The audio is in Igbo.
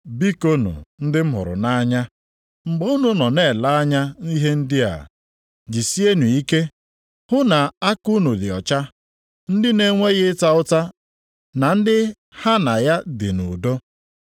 Bikonu ndị m hụrụ nʼanya, mgbe unu nọ na-ele anya ihe ndị a, jisienụ ike hụ na aka unu dị ọcha, ndị na-enweghị ịta ụta na ndị ha na ya dị nʼudo.